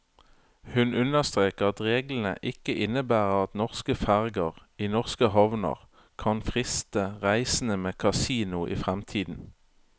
Hun understreker at reglene ikke innebærer at norske ferger i norske havner kan friste reisende med kasino i fremtiden.